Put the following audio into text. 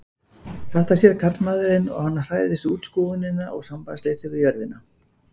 Þetta sér karlmaðurinn og hann hræðist útskúfunina og sambandsleysið við jörðina.